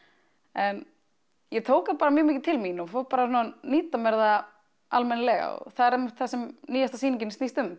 en ég tók það bar mjög mikið til mín og fór að nýta mér það almennilega og það er einmitt það sem nýjasta sýningin snýst um